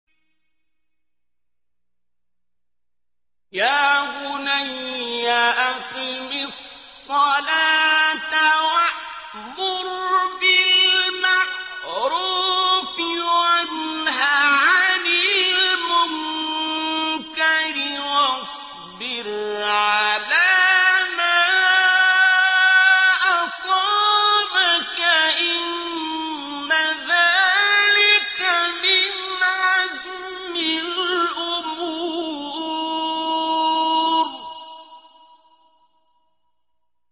يَا بُنَيَّ أَقِمِ الصَّلَاةَ وَأْمُرْ بِالْمَعْرُوفِ وَانْهَ عَنِ الْمُنكَرِ وَاصْبِرْ عَلَىٰ مَا أَصَابَكَ ۖ إِنَّ ذَٰلِكَ مِنْ عَزْمِ الْأُمُورِ